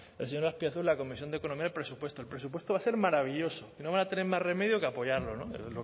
el señor azpiazu en la comisión de economía y presupuestos el presupuesto va a ser maravilloso no van a tener más remedio que apoyarlo no es